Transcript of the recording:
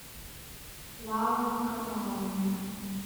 лала николаевна